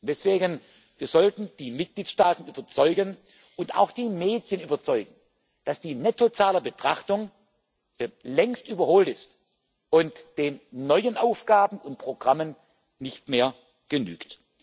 vor Ort. Deswegen sollten wir die Mitgliedstaaten und auch die Medien überzeugen, dass die Nettozahlerbetrachtung längst überholt ist und den neuen Aufgaben und Programmen nicht mehr